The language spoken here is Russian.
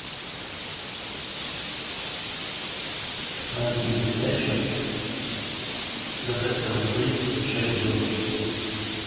найти передачу детектор лжи с шепелевым